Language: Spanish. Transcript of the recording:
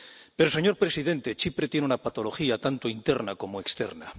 Pero, señor presidente, Chipre tiene una patología tanto interna como externa.